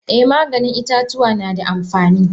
Eh Maganin itatuwa nada amfani.